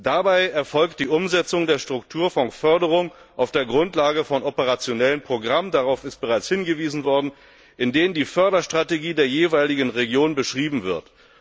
Dabei erfolgt die Umsetzung der Strukturfondsförderung auf der Grundlage von operationellen Programmen darauf wurde bereits hingewiesen in denen die Förderstrategie der jeweiligen Region beschrieben wird.